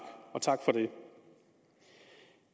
og tak for det